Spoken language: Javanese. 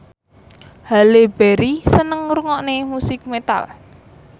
Halle Berry seneng ngrungokne musik metal